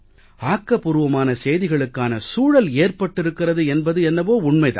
ஆக்கபூர்வமான செய்திகளுக்கான சூழல் ஏற்பட்டிருக்கிறது என்பது என்னவோ உண்மை தான்